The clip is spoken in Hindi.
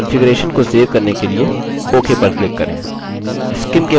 अपने कंफिगरेशन को सेव करने के लिए ok पर click करें